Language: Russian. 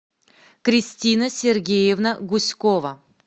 кристина сергеевна гуськова